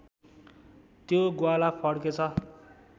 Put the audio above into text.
त्यो ग्वाला फर्केछ